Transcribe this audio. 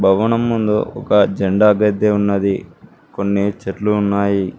భవనం ముందు ఒక జెండా గద్దె ఉన్నది కొన్ని చెట్లు ఉన్నాయి.